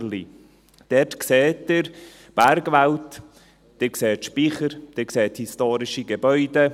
Dort sehen Sie die Bergwelt, Sie sehen Speicher, historische Gebäude.